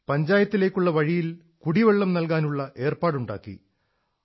പഞ്ചായത്തിലേക്കുള്ള വഴിയിൽ കുടിവെള്ളം നല്കാനുള്ള ഏർപ്പാടുണ്ടാക്കി